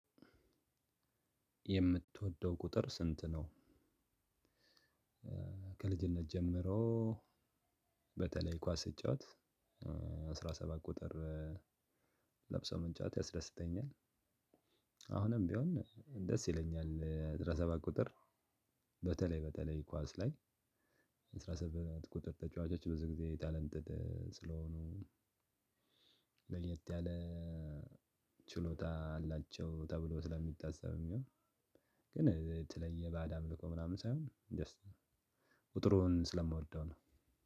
የምትወደው ቁጥር ስንት ነው? ከልጅነት ጀምሮ በተለይ ኳስ ስጫወት አስራ ሰባት ቁጥር ለብሶ መጫወት ያስደስተኛል። አሁንም ቢሆን ደስ ይለኛል አስራ ሰባት ቁጥር። በተለይ በተለይ ኳስ ላይ የአስራ ሰባት ቁጥር ተጫዋቾች ብዙ ጊዜ የታለንትድ ስለሆኑ። ለየት ያለ ችሎታ አላቸው ተብሎ ስለሚታሰብም ያው ግን የለየ ባዕድ አምልኮ ምናምን ሳይሆን ጀስት ቁጥሩን ስለምወደው ነው።